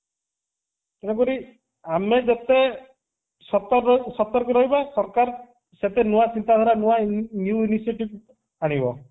ତେଣୁ କରି ଆମ ଯେତେ ସତ ସତର୍କ ରହିବା ସରକାର ସେତେ ନୂଆ ଚିନ୍ତାଧାରା ନୂଆ new research ପାରିବ